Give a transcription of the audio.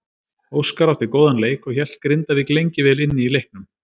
Óskar átti góðan leik og hélt Grindavík lengi vel inni í leiknum.